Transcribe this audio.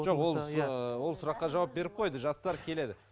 жоқ ол ыыы ол сұраққа жауап беріп қойды жастар келеді